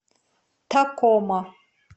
такома